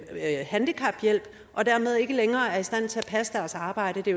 handicaphjælp og dermed ikke længere er i stand til at passe deres arbejde det